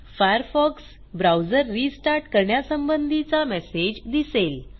Firefox browser restart करण्यासंबंधीचा message दिसेल